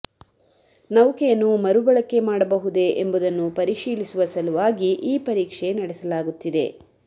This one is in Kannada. ನೌಕೆಯನ್ನು ಮರುಬಳಕೆ ಮಾಡಬಹುದೇ ಎಂಬುದನ್ನು ಪರಿಶೀಲಿಸುವ ಸಲುವಾಗಿ ಈ ಪರೀಕ್ಷೆ ನಡೆಸಲಾಗುತ್ತಿದೆ